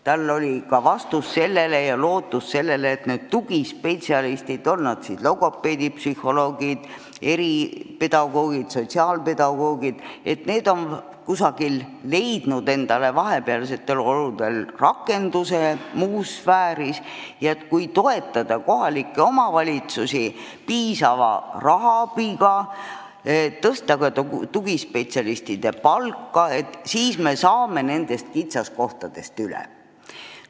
Tal olid vastused olemas ja ta ütles end lootvat, et need tugispetsialistid, on nad siis logopeedid, psühholoogid, eripedagoogid või sotsiaalpedagoogid, on vahepeal leidnud endale rakenduse muus sfääris ja kui toetada kohalikke omavalitsusi piisava rahaabiga, tõsta ka tugispetsialistide palka, siis me saame nendest kitsaskohtadest üle.